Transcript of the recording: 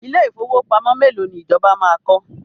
Ilé ìfowópamọ́ mélòó ni ìjọba máa kọ́?